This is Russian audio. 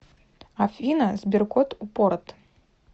афина сберкот упорот